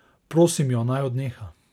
Prosim jo, naj odneha.